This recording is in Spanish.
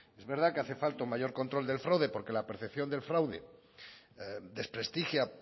es verdad que hace falta un mayor control del fraude porque la percepción del fraude desprestigia